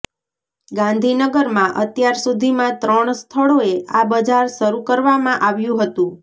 ગાંધીનગરમાં અત્યાર સુધીમાં ત્રણ સ્થળોએ આ બજાર શરૂ કરવામાં આવ્યુ હતું